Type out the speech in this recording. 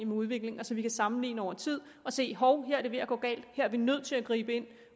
med udviklingen og så vi kan sammenligne over tid og se at hov her er det ved at gå galt her er vi nødt til at gribe ind